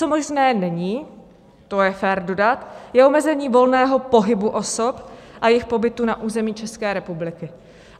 Co možné není, to je fér dodat, je omezení volného pohybu osob a jejich pobytu na území České republiky.